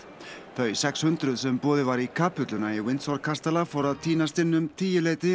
þau sex hundruð sem boðið var í kapelluna í kastala fóru að tínast inn um tíuleytið